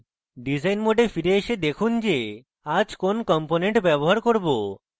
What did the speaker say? design mode ফিরে এসে দেখুন যে আজ কোন components ব্যবহার করব